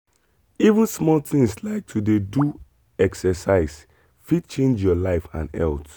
even small things like to dey do exercise fit change your life and health.